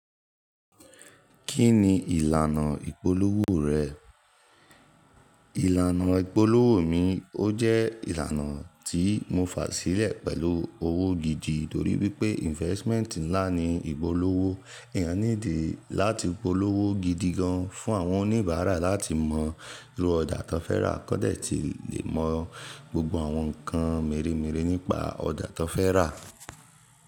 Kí ni ìlànà ìpolówó rẹ̀? Ìlànà ìpolówó mi ó jẹ́ ìlànà tí mo fà sílẹ̀ pẹ̀lú owó gidi torí wípé investment ńlá ni ìpolówó. Ẹ̀eyàn need é láti polówó gidi gan fún àwọn oníbàárà láti mọ irú ọjà tó fẹ́ rà kódé tí lè mọ gbogbo àwọn nǹkan mírémiré nípa ọjà tó fẹ́ rà.